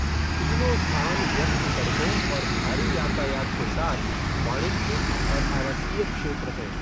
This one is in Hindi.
तीनों स्थान व्यस्त सड़कों और भारी यातायात के साथ वाणिज्यिक और आवासीय क्षेत्र हैं।